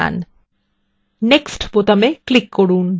এবং তারপর next বোতামে click করুন